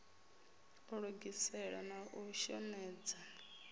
u lugisela na u shomedza